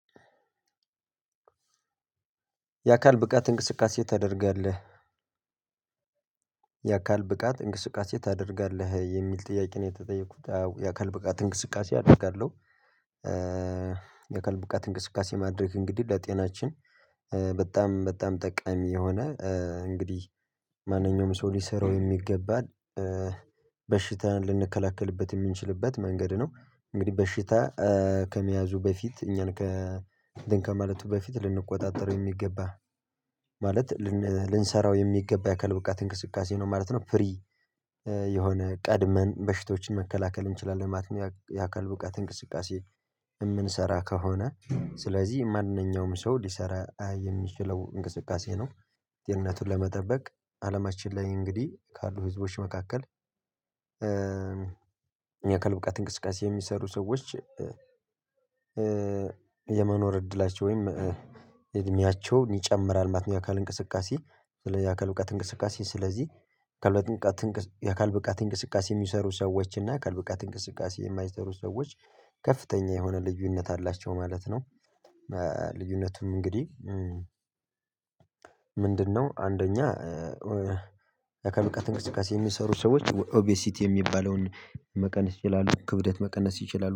የአካል ብቃት እንቅስቃሴ ታደርጋለህ? የአካል ብቃት እንቅስቃሴ ታደርጋለህ የሚል ጥያቄ ነው የተጠየኩት የአካል ብቃት እንቅስቃሴ አደርጋለሁ። የአካል ብቃት እንቅስቃሴ ማድረግ እንግዲህ ለጤናችን በጣም በጣም ጠቃሚ የሆነ እንግዲህ ማንኛውም ሰው ሊሰራው የሚገባን። በሽታን ልንከላከልበት የምንችልበት መንገድ ነው። እንግዲህ በሽታ ከመያዙ በፊት እኛን ከ እንትን ከማለቱ በፊት ልንቆጣጠረው የሚገባ። ማለት ልንሰራው የሚገባ የአካል ብቃት እንቅስቃሴ ነው ማለት ነው። ፍሪ የሆነ ቀድመን በሽቶችን መከላከል እንችላለን ማለት ነው። የአካል ብቃት እንቅስቃሴ የምንሰራ ከሆነ ስለዚህ ማንኛውም ሰው ሊሰራ የሚችለው እንቅስቃሴ ነው። ደህንነቱን ለመጠበቅ አለማችን ላይ እንግዲህ ካሉ ህዝቦች መካከል ብቃት እንቅስቃሴ የሚሰሩ ሰዎች። የመኖር እድላቸው ወይም እድሜያቸው ይጨምራል ማለት ነው። የአካል እንቅስቃሴ የአካል ብቃት እንቅስቃሴ ስለዚህ የአካል ብቃት የአካል ብቃት እንቅስቃሴ የሚሰሩ ሰዎች እና አካል ብቃት እንቅስቃሴ የማይሰሩ ሰዎች ከፍተኛ የሆነ ልዩነት አላቸው ማለት ነው። ልዩነቱም እንግዲህ ምንድነው? አንደኛ አካል ብቃት እንቅስቃሴ የሚሰሩ ሰዎች ኦቢሲቲ የሚባለውን መቀነስ ይችላሉ ክብደት መቀነስ ይችላሉ